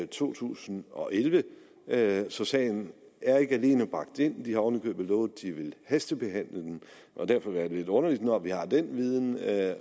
to tusind og elleve elleve så sagen er ikke alene bragt ind de har oven i købet lovet at de vil hastebehandle den og derfor er det lidt underligt når vi har den viden at